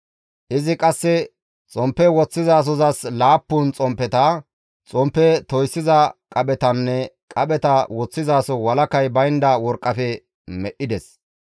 Izi qasse xomppe woththizasozas laappun xomppeta, xomppe toyssiza qaphetanne qapheta woththizaso walakay baynda worqqafe medhdhides.